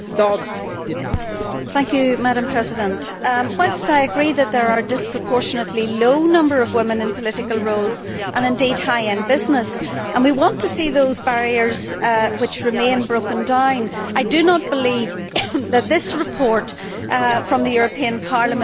Madam President, whilst I agree that there are disproportionately low numbers of women in political roles, and indeed high in business, and we want to see those barriers which remain broken down, I do not believe that this report from the European Parliament will be the instrument to do so.